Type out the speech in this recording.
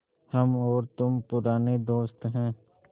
हम और तुम पुराने दोस्त हैं